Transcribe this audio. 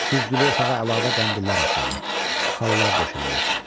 Güzgülü otağa əlavə qəndillər asıldı, xalalar döşəndi.